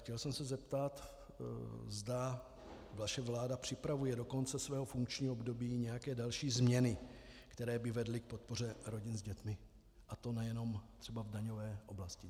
Chtěl jsem se zeptat, zda vaše vláda připravuje do konce svého funkčního období nějaké další změny, které by vedly k podpoře rodin s dětmi, a to nejenom třeba v daňové oblasti.